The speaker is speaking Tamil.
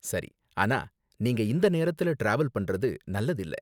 சரி. ஆனா நீங்க இந்த நேரத்துல டிராவல் பண்றது நல்லதில்ல.